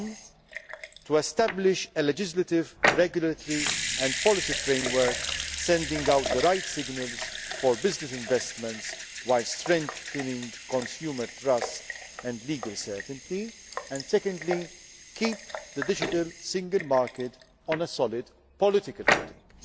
agenda. Firstly, it is to establish a legislative, regulatory and policy framework that sends out the right signals for business investments while strengthening consumer trust and legal certainty, and secondly, to keep the digital single market on a solid political footing.